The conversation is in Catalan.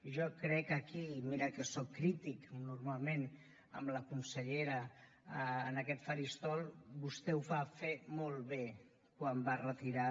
jo crec que aquí i mira que soc crític normalment amb la consellera en aquest faristol vostè ho va fer molt bé quan va retirar